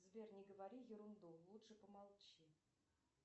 сбер не говори ерунду лучше помолчи